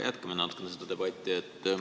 Jätkame natuke seda debatti.